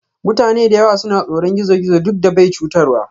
Mutane da yawa suna tsoron gizo-gizo duk da bai chutarwa.